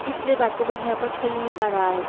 इसलिए बच्चा लोग यहाँ पर खेल नही पा रहा है।